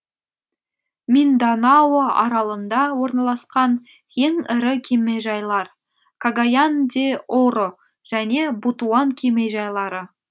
минданао аралында орналасқан ең ірі кемежайлар кагаян де оро және бутуан кемежайлары